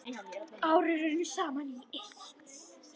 Árin runnu saman í eitt.